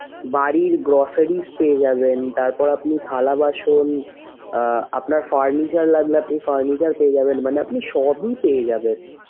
বাড়ির groceries পেয়ে যাবেন তারপর আপনি থালাবাসন আহ আপনার furniture লাগলে আপনি furniture পেয়ে যাবেন মানে আপনি সবই পেয়ে যাবেন।